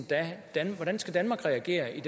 regering